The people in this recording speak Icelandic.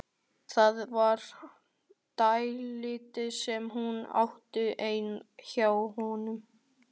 Það var dálítið sem hún átti inni hjá honum.